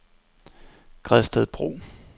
Gredstedbro